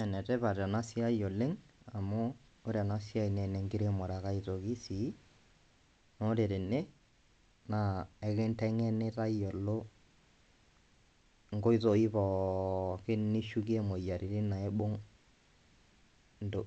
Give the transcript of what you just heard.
Ene tipat ena siai oleng' amu ore ena siai naa ene nkiremore ake aitoki sii naa ore tene naa ekinteng'eni tayiolo nkoitoi poookin nishukie moyiaritin naibung' nto